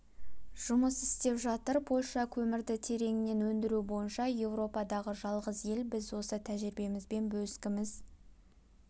жұмыс істеп жатыр польша көмірді тереңнен өндіру бойынша еуропадағы жалғыз ел біз осы тәжірибемізбен бөліскіміз